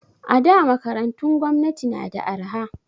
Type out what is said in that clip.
A da makarantun gwamnati na da arha